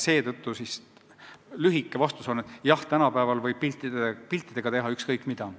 Seetõttu minu lühike vastus on: jah, tänapäeval võib piltidega teha ükskõik mida.